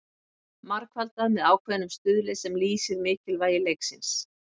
Margfaldað með ákveðnum stuðli sem lýsir mikilvægi leiksins.